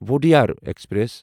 Wodeyar express